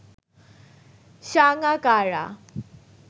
Sangakkara